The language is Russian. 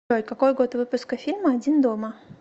джой какой год выпуска фильма один дома